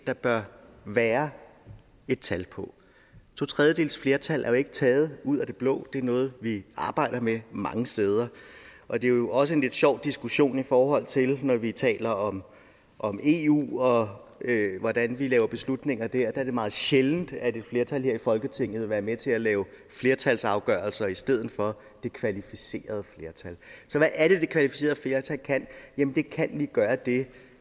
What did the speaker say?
der bør være et tal på to tredjedeles flertal er jo ikke taget ud af det blå det er noget vi arbejder med mange steder og det er jo også en lidt sjov diskussion i forhold til når vi taler om om eu og hvordan vi laver beslutninger der der er det meget sjældent at et flertal her i folketinget vil være med til at lave flertalsafgørelser i stedet for det kvalificerede flertal så hvad er det det kvalificerede flertal kan jamen det kan lige gøre det